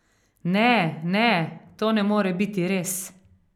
Ne, ne, to ne more biti res!